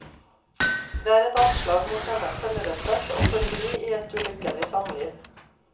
Det er et anslag mot hennes selvrespekt å forbli i et ulykkelig samliv.